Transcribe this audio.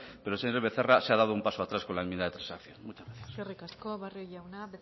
pero señor becerra se ha dado un paso atrás con la enmienda de transacción muchas gracias eskerrik asko barrio jauna